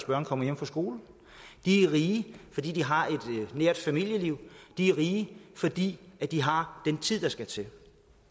børn kommer hjem fra skole de er rige fordi de har et nært familieliv de er rige fordi de har den tid der skal til